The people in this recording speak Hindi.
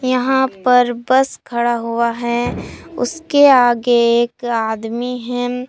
यहां पर बस खड़ा हुआ है उसके आगे एक आदमी हैं।